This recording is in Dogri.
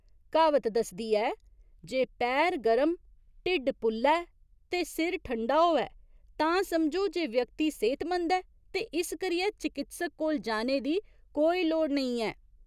क्हावत दसदी ऐ जे पैर गरम, ढिड्ड पुल्ला ऐ ते सिर ठंडा होऐ तां समझो जे व्यक्ति सेह्तमंद ऐ ते इस करियै चकित्सक कोल जाने दी कोई लोड़ नेईं ऐ।